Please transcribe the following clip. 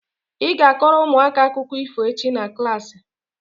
ị ga- akọrọ ụmụaka akụkọ ifo echi na klaasị